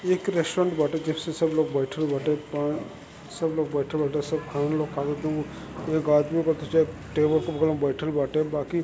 एक रेस्टुरेंट बाटे जिसपे सब लोग बइठल बाटे पा सब लोग बइठल बाटे सब खाना ओना एक आदमी बाटे टेबल के बगल में बइठल बाटे बाकि --